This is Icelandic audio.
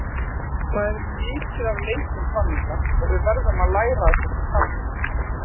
Það er mikið af leikjum framundan og við verðum að læra af þessu tapi.